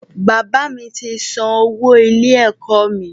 Bàbá mi ti san owó ilé-ẹ̀kọ́ mi.